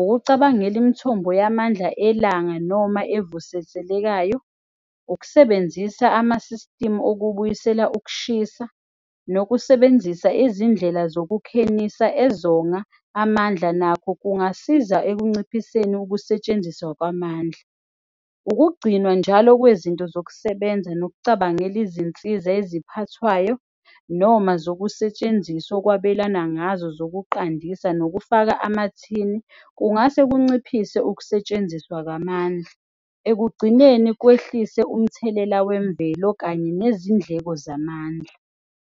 ukucabangela imithombo yamandla elanga noma evuseselekayo, ukusebenzisa ama-system okubuyisela ukushisa. Nokusebenzisa izindlela zokukhenisa ezonga amandla, nakho kungasiza ekunciphiseni ukusetshenziswa kwamandla. Ukugcinwa njalo kwezinto zokusebenza nokucabangela izinsiza eziphathwayo noma zokusetshenziswa okwabelana ngazo zokunqandisa. Nokufaka amathini kungase kunciphise ukusetshenziswa kwamandla. Ekugcineni kwehlise umthelela wemvelo kanye nezindleko zamandla.